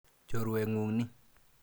Chorwet ng'ung' ni.